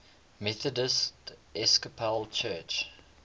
methodist episcopal church